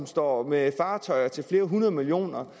står med fartøjer til flere hundrede millioner